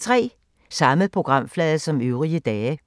Samme programflade som øvrige dage